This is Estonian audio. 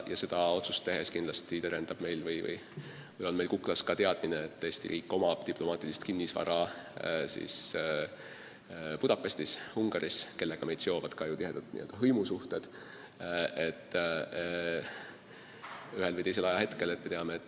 Seda otsust tehes on meil kuklas aga ka teadmine, et Eesti riigil on olemas diplomaatiline kinnisvara Budapestis Ungaris, kellega meid tihedalt seovad ka ju hõimusuhted.